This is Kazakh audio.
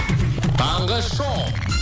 таңғы шоу